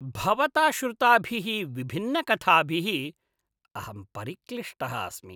भवता श्रुताभिः विभिन्नकथाभिः अहं परिक्लिष्टः अस्मि।